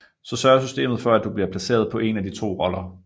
Så sørger systemet for at du bliver placeret på en af de 2 roller